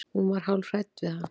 Hún var hálf hrædd við hann.